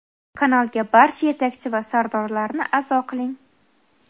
Kanalga barcha yetakchi va sardorlarni a’zo qiling.